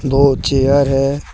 Chair है ।